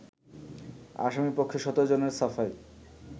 আসামিপক্ষে ১৭ জনের সাফাই